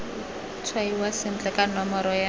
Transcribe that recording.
tshwaiwa sentle ka nomoro ya